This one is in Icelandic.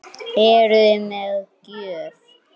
Eruði með gjöf?